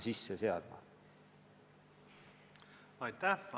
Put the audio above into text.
Aitäh!